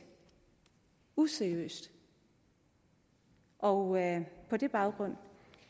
useriøst og på den baggrund